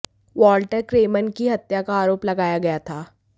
Walter Kremen की हत्या का आरोप लगाया गया था